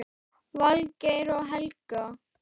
Valgeir og Helga.